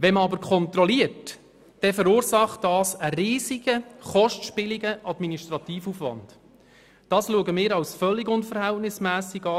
Eine Kontrolle verursacht jedoch einen riesigen kostspieligen Administrativaufwand, welcher völlig unverhältnismässig ist.